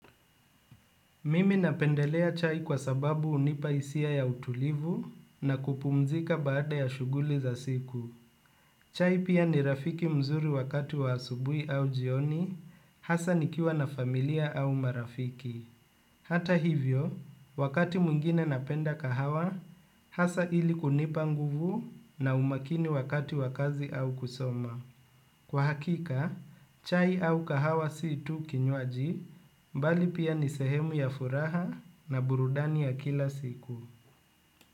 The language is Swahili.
Mimi napendelea chai kwa sababu hunipa hisia ya utulivu na kupumzika baada ya shughuli za siku. Chai pia ni rafiki mzuri wakati wa asubui au jioni, hasaa nikiwa na familia au marafiki. Hata hivyo, wakati mwingine napenda kahawa, hasaa ili kunipa nguvu na umakini wakati wa kazi au kusoma. Kwa hakika, chai au kahawa si tu kinywaji bali pia ni sehemu ya furaha na burudani ya kila siku.